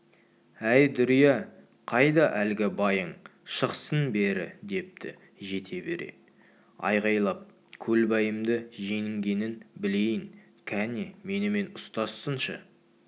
әй дүрия қайда әлгі байың шықсын бері депті жете бере айқайлап көлбайымды жеңгенін білейін кәне менімен ұстассыншы